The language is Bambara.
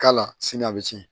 K'a la sini a bɛ tiɲɛ